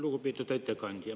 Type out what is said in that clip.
Lugupeetud ettekandja!